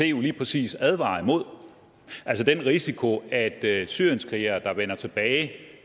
jo lige præcis advarer imod altså den risiko at syrienskrigere der vender tilbage